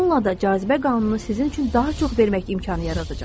Bununla da cazibə qanunu sizin üçün daha çox vermək imkanı yaradacaq.